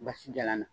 Basi jalan na